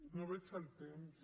no veig el temps